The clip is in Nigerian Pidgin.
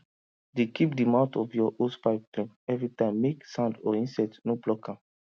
dey keep the mouth of your hosepipe clean everytimemake sand or insect no block am